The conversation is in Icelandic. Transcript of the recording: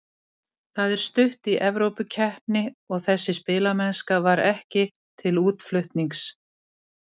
Það er stutt í Evrópukeppni og þessi spilamennska var ekki til útflutnings.